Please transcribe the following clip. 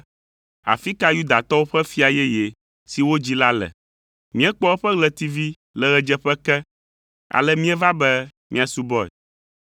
“Afi ka Yudatɔwo ƒe fia yeye si wodzi la le? Míekpɔ eƒe ɣletivi le ɣedzeƒe ke, ale míeva be míasubɔe.”